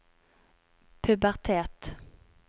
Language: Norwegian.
pubertet